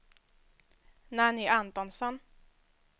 Nanny Antonsson